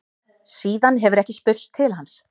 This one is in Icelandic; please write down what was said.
Síðan hefur ekki spurst til hans